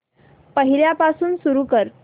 पहिल्यापासून सुरू कर